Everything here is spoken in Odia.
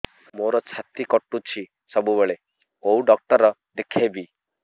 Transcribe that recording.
ମୋର ଛାତି କଟୁଛି ସବୁବେଳେ କୋଉ ଡକ୍ଟର ଦେଖେବି